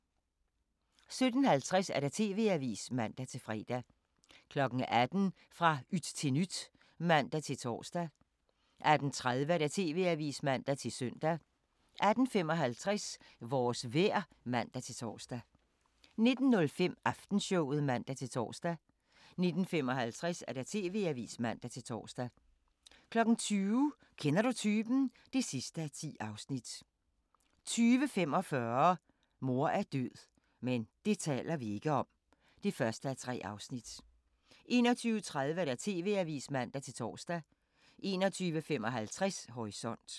17:50: TV-avisen (man-fre) 18:00: Fra yt til nyt (man-tor) 18:30: TV-avisen (man-søn) 18:55: Vores vejr (man-tor) 19:05: Aftenshowet (man-tor) 19:55: TV-avisen (man-tor) 20:00: Kender du typen? (10:10) 20:45: Mor er død – men det taler vi ikke om (1:3) 21:30: TV-avisen (man-tor) 21:55: Horisont